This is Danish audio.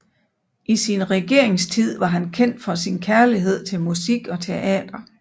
I sin regeringstid var han kendt for sin kærlighed til musik og teater